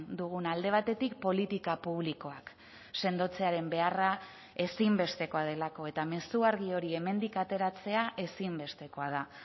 duguna alde batetik politika publikoak sendotzearen beharra ezinbestekoa delako eta mezu argi hori hemendik ateratzea ezinbestekoa da